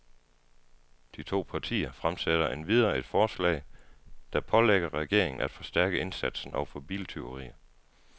De to partier fremsætter endvidere et forslag, der pålægger regeringen af forstærke indsatsen over for biltyverier.